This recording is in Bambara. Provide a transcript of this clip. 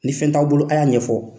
Ni fɛn t'aw bolo, a y'a ɲɛfɔ.